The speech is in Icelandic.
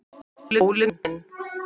ÓLI MINN.